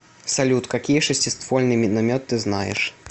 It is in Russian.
салют какие шестиствольный миномет ты знаешь